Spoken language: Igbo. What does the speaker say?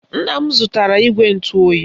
Nna m zụtara igwe ntụoyi